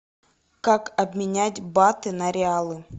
как обменять баты на реалы